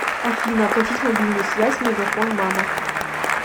афина оплатить мобильную связь мегафон мама